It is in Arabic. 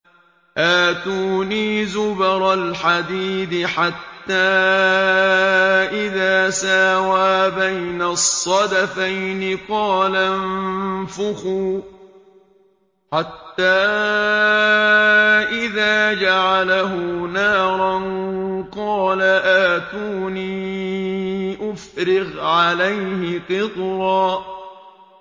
آتُونِي زُبَرَ الْحَدِيدِ ۖ حَتَّىٰ إِذَا سَاوَىٰ بَيْنَ الصَّدَفَيْنِ قَالَ انفُخُوا ۖ حَتَّىٰ إِذَا جَعَلَهُ نَارًا قَالَ آتُونِي أُفْرِغْ عَلَيْهِ قِطْرًا